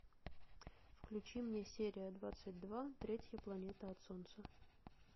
включи мне серия двадцать два третья планета от солнца